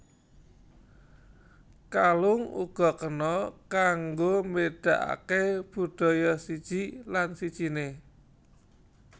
Kalung uga kena kanggo mbédakaké budaya siji lan sijiné